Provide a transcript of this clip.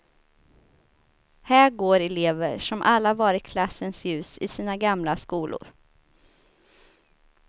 Här går elever som alla varit klassens ljus i sina gamla skolor.